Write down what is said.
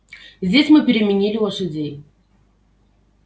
здесь мы переменили лошадей